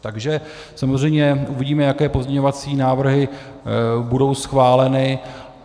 Takže samozřejmě uvidíme, jaké pozměňovací návrhy budou schváleny.